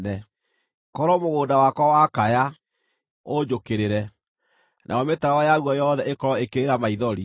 “Korwo mũgũnda wakwa wakaya, ũnjũkĩrĩre, nayo mĩtaro yaguo yothe ĩkorwo ĩkĩrĩra maithori,